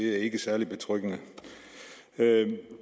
det er ikke særlig betryggende